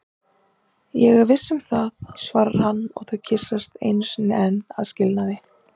Ég er viss um það, svarar hann og þau kyssast einu sinni enn að skilnaði.